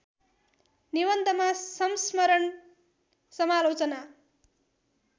निबन्धमा संस्मरण समालोचना